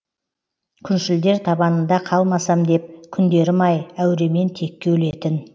күншілдер табанында қалмасам деп күндерім ай әуремен текке өлетін